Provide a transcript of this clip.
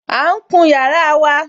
À ún kun yàrá wa